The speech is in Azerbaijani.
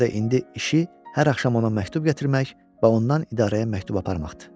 Buna görə də indi işi hər axşam ona məktub gətirmək və ondan idarəyə məktub aparmaqdır.